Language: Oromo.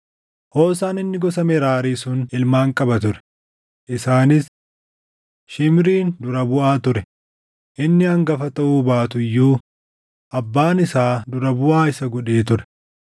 Hoosaan inni gosa Meraarii sun ilmaan qaba ture; isaanis: Shimriin dura buʼaa ture; inni hangafa taʼuu baatu iyyuu abbaan isaa dura buʼaa isa godhee ture;